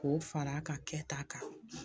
K'o fara a ka kɛ ta kan